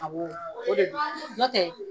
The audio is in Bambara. Awɔ o de do n'ɔ tɛ